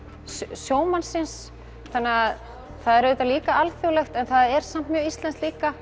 sjómannsins það er auðvitað líka alþjóðlegt en er samt mjög íslenskt líka